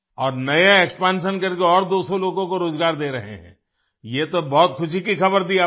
और नए एक्सपैंशन करके और 200 लोगों को रोज़गार दे रहे हैं ये तो बहुत खुशी की खबर दी आपने